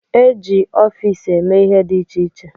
E ji ọfiisi eme ihe dị iche iche.